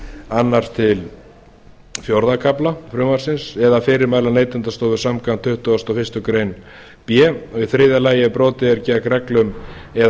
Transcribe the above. annars til fjórða kafla frumvarpsins eða fyrirmæla neytendastofu samkvæmt tuttugustu og fyrstu grein b og í þriðja lagi ef brotið er gegn reglum eða